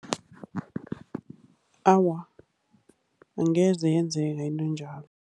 Awa, angeze yenzeka into njalo.